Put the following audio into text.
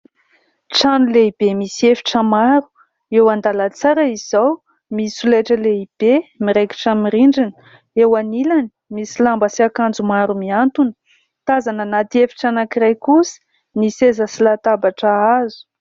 Trano lehibe misy efitra maro. Eo an-dalantsara izao misy solaitra lehibe miraikitra amin'ny rindrina. Eo anilany, misy lamba sy akanjo maro mihantona. Tazana anaty efitra anankiray kosa, misy seza sy latabatra hazo.